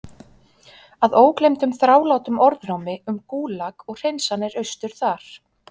Að ógleymdum þrálátum orðrómi um Gúlag og hreinsanir austur þar.